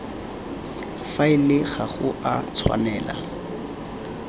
faele ga go a tshwanela